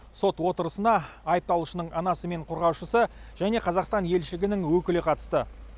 сот отырысына айыпталушының анасы мен қорғаушысы және қазақстан елшілігінің өкілі қатысты